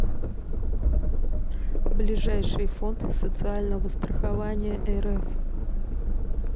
ближайший фонд социального страхования рф